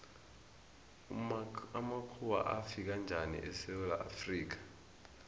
amakhuwa afika njani esewula afrika